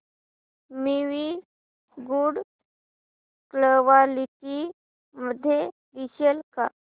movie good quality मध्ये दिसेल का